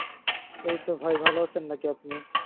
এইতো ভাই ভালো আছেন নাকি আপনি?